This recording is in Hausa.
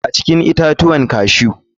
A cikin itatuwan cashew.